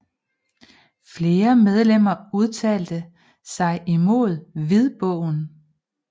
Flere medlemmer udtalte sig imod hvidbogen